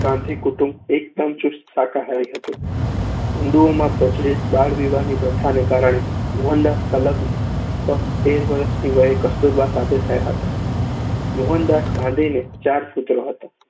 ગાંધી કુટુંબ એકદમ ચુસ્ત શાકાહારી હતું. હિંદુઓમાં પ્રચલિત બાળવિવાહની પ્રથાને કારણે મોહનદાસના લગ્ન ફક્ત તેર વર્ષની વયે કસ્તુરબા સાથે થયા હતા. મોહનદાસ ગાંધીને ચાર પુત્રો હતા.